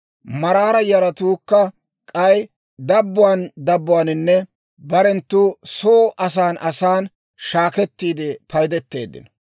Maraara yaratuukka k'ay dabbuwaan dabbuwaaninne barenttu soo asan asan shaakettiide paydeteeddino.